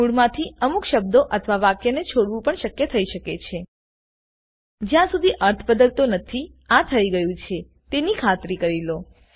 મૂળમાંથી અમુક શબ્દો અથવા વાક્ય ને છોડવું પણ શક્ય થઈ શકે છે જ્યાં સુધી અર્થ બદલતો નથીઆ થયી ગયું છે તેની ખાતરી કરી લો